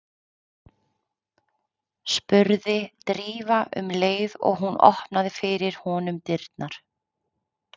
spurði Drífa um leið og hún opnaði fyrir honum dyrnar.